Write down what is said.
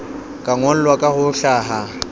ka ngolwa ka ho hlaha